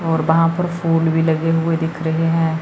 और वहां पर फूल भी लगे हुए दिख रहे हैं।